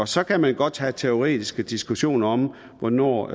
så kan man godt have teoretiske diskussioner om hvornår